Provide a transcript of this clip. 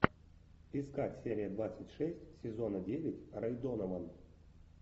искать серия двадцать шесть сезона девять рэй донован